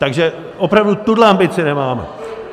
Takže opravdu tuhle ambici nemáme.